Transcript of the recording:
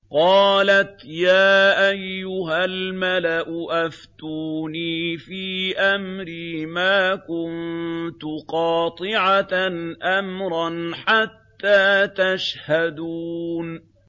قَالَتْ يَا أَيُّهَا الْمَلَأُ أَفْتُونِي فِي أَمْرِي مَا كُنتُ قَاطِعَةً أَمْرًا حَتَّىٰ تَشْهَدُونِ